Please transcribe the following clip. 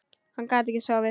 Hann gat ekki sofið.